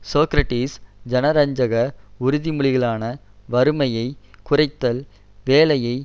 சோக்ரடிஸ் ஜனரஞ்சக உறுதிமொழிகளான வறுமையை குறைத்தல் வேலையை